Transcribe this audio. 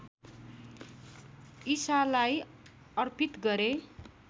ईसालाई अर्पित गरे